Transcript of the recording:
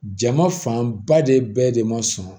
Jama fanba de bɛɛ de ma sɔn